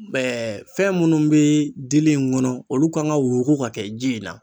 fɛn minnu bɛ dili in kɔnɔ olu kan ka wo ka kɛ ji in na.